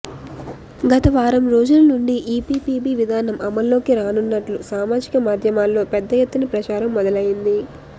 గత వారం రోజుల నుండి ఈపీపీబీ విధానం అమలులోకి రానున్నట్లు సామాజిక మద్యామల్లో పెద్ద ఎత్తున ప్రచారం మొదలైంది